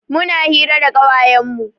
Muna hira da ƙawayen mu.